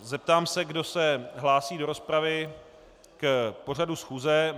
Zeptám se, kdo se hlásí do rozpravy k pořadu schůze.